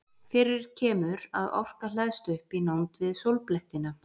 Fyrir kemur að orka hleðst upp í nánd við sólblettina.